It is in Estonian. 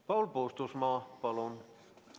Paul Puustusmaa, palun!